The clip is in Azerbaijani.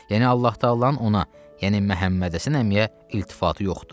Yəni Allah təalanın ona, yəni Məhəmməd Həsən əmiyə iltifatı yoxdur.